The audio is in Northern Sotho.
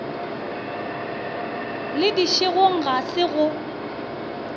le dišegong ga se go